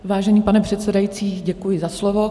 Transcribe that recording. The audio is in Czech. Vážený pane předsedající, děkuji za slovo.